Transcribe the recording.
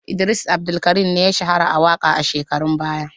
Idris Abdulkarim ya shahara a waƙa a shekarun baya.